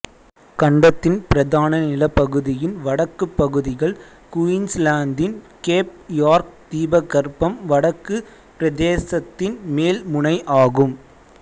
கண்டத்தின் பிரதான நிலப்பகுதியின் வடக்குப் பகுதிகள் குயின்ஸ்லாந்தின் கேப் யார்க் தீபகற்பம் வடக்கு பிரதேசத்தின் மேல் முனை ஆகும்